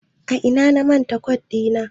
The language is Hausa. A ina na manta kot ɗita?